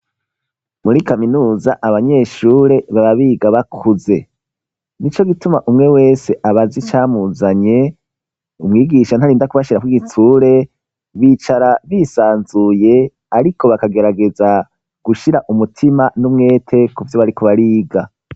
Muri kaminuza abanyeshure baba biga bakuze nico gituma umwe wese abazi icamuzanye umwigisha ntarinda kubashirako igitsure bicara bisanzuye ariko bakagerageza gushira umutima n'umwete kuvyo bariko bariga.